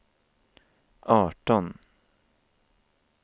arton